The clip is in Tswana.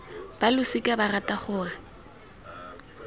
ba losika ba rata gore